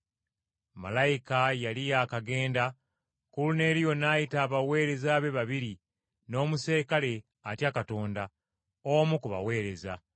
Malayika yali yaakagenda, Koluneeriyo n’ayita abaweereza be babiri n’omuserikale atya Katonda, omu ku baweereza,